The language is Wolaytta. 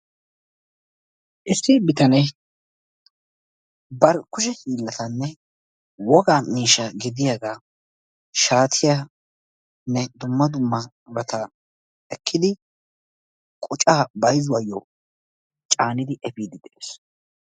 Issi bitanee bar kushe hiillatane wogaa miishshaa gidiyaga shaatiyaanne dumma dummabata ekkidi qocaa bayzzuwayyo caanidi efiiddi de'ees.